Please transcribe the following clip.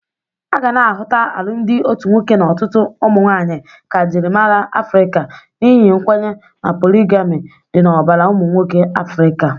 A ga na-ahụta alụmdị otu nwoke na ọtụtụ ụmụnwaanyị ka njịrịmara Afrịka n'ihi nkwenye na poligami dị n'ọbara ụmụnwoke Afrịka.